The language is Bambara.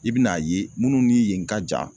I bɛn'a ye minnu ni yen ka jan